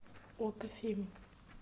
окко фильм